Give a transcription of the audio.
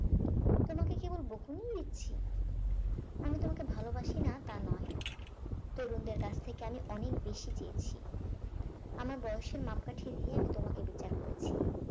তোমাকে কেবল বকুনিই দিচ্ছি আমি তোমাকে ভালোবাসি না তা নয় তরুণদের কাছ থেকে আমি অনেক বেশি চেয়েছি আমার বয়সের মাপকাঠি দিয়ে আমি তোমাকে বিচার করেছি